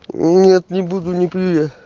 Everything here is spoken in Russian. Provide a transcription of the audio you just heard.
нет не буду не пью я